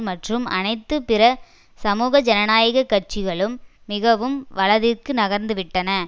மற்றும் அனைத்து பிற சமூக ஜனநாயக கட்சிகளும் மிகவும் வலதிற்கு நகர்ந்து விட்டன